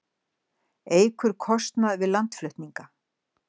Eykur kostnað við landflutninga